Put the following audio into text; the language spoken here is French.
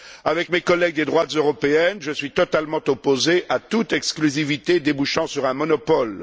Avec mes collègues des droites européennes, je suis totalement opposé à toute exclusivité débouchant sur un monopole.